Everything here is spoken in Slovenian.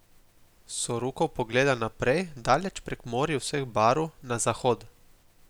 Sokurov pogleda naprej, daleč prek morij vseh barv, na zahod.